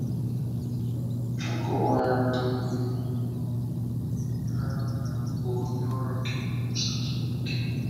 Akọwaara um m ha na m bụ onye ọrụ nke na-ekwusa Chineke.